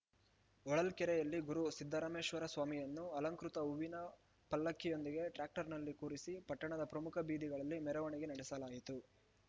ಹೊಳಲ್ಕೆರೆಯಲ್ಲಿ ಗುರು ಸಿದ್ದರಾಮೇಶ್ವರಸ್ವಾಮಿಯನ್ನು ಅಲಂಕೃತ ಹೂವಿನ ಪಲ್ಲಕ್ಕಿಯೊಂದಿಗೆ ಟ್ರ್ಯಾಕ್ಟರ್‌ನಲ್ಲಿ ಕುರಿಸಿ ಪಟ್ಟಣದ ಪ್ರಮುಖ ಬೀದಿಗಳಲ್ಲಿ ಮೆರವಣಿಗೆ ನಡೆಸಲಾಯಿತು